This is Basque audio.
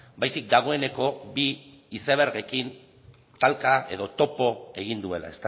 baizik dagoeneko bi izebergekin talka edo topo egin duela